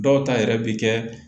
Dɔw ta yɛrɛ bɛ kɛ